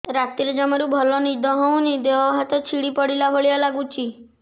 ରାତିରେ ଜମାରୁ ଭଲ ନିଦ ହଉନି ଦେହ ହାତ ଛିଡି ପଡିଲା ଭଳିଆ ଲାଗୁଚି